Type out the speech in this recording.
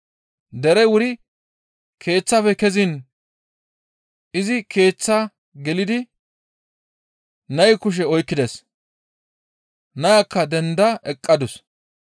Derey wuri keeththafe keziin izi keeththaa gelidi nay kushe oykkides; nayakka denda eqqadus.